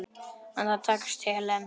En það tókst Helen.